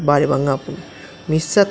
ಬಾರಿ ಬಂಗ ಆಪುಂಡು ಮಿಸ್ಸ್ ಅತ್ತ್--